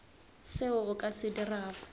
seo o ka se dirago